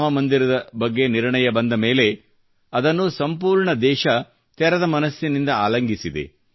ರಾಮ ಮಂದಿರದ ಬಗ್ಗೆ ನಿರ್ಣಯ ಬಂದ ಮೇಲೆ ಅದನ್ನು ಸಂಪೂರ್ಣ ದೇಶ ತೆರೆದ ಮನಸ್ಸಿನಿಂದ ಆಲಂಗಿಸಿದೆ